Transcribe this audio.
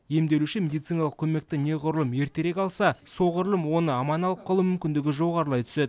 емделуші медициналық көмекті неғұрлым ертерек алса соғұрлым оны аман алып қалу мүмкіндігі жоғарылай түседі